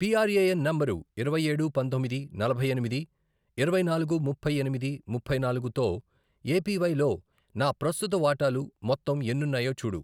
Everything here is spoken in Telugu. పిఆర్ఏఎన్ నంబరు ఇరవై ఏడు, పంతొమ్మిది, నలభై ఎనిమిది, ఇరవై నాలుగు, ముప్పై ఎనిమిది, ముప్పై నాలుగు, తో ఏపీవై లో నా ప్రస్తుత వాటాలు మొత్తం ఎన్నున్నాయో చూడు.